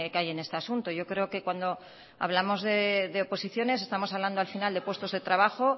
hay en este asunto yo creo que cuando hablamos de oposiciones estamos hablando al final de puestos de trabajo